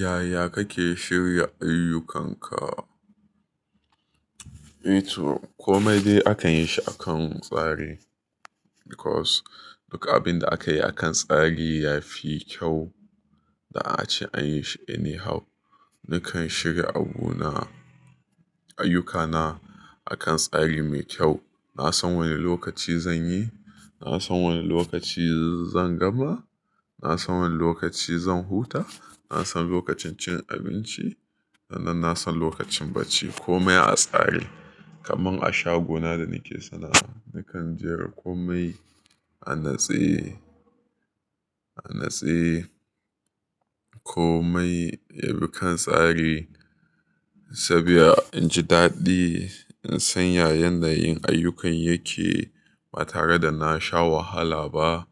Yaya kake shirya ayyukanka? Eh to komai dai akan yi shi akan tsari because duk abinda akayi akan tsari yafi kyau. Da ace an yi shi anyhow. Nakan shiga abu na, ayyuka na akan tsari mai kyau. Na san woni lokaci zan yi, na san woni lokaci zan gama, na san woni lokaci zan huta, na san lokacin cin abinci sannan na san lokacin bacci. Komai a tsari kaman a shago na da nake sana'a. Nakan jera komai a natse, a natse komai yabi kan tsari saboda inji daɗi, insan ya yanayin ayyukan yake ba tare da nasha wahala ba.